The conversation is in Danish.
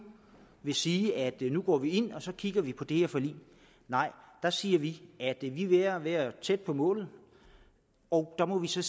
vil sige at nu går vi ind og så kigger vi på det her forlig nej der siger vi at vi vi er ved at være tæt på målet og der må vi så